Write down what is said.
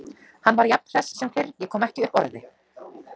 Hann var jafn hress sem fyrr, ég kom ekki upp orði.